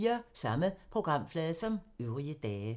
Samme programflade som øvrige dage